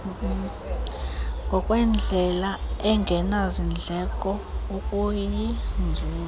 ngokwendlela engenazindleko okuyinzuzo